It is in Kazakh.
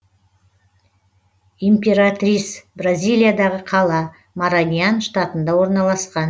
императрис бразилиядағы қала мараньян штатында орналасқан